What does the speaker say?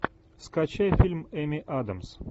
скачай фильм эми адамс